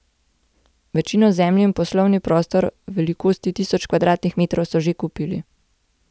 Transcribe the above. Večino zemlje in poslovni prostor velikosti tisoč kvadratnih metrov so že kupili.